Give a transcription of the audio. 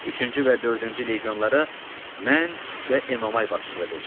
Üçüncü və dördüncü legionlara mən və Enomay başçılıq edəcəyik.